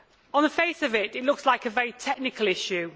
On the face of it, this looks like a very technical issue.